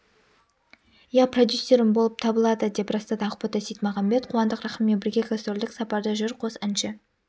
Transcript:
иә продюсерім болып табылады деп растады ақбота сейітмағамбет қуандық рахыммен бірге гастрольдік сапарда жүр қос әнші